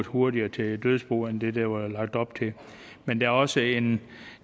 hurtigere til dødsbo end det der var lagt op til men der er også en